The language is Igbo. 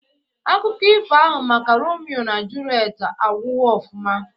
Akụkọ ifo ahụ maka Romio na Julet agwụghọ ofụma